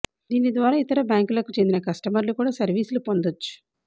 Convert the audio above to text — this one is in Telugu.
దీని ద్వారా ఇతర బ్యాంకులకు చెందిన కస్టమర్లు కూడా సర్వీసులు పొందొచ్చు